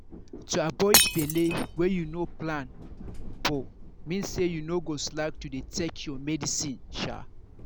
to avoid belle wey you no plan for mean say you no go slack to dey take your medicine sha.